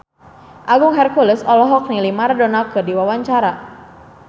Agung Hercules olohok ningali Maradona keur diwawancara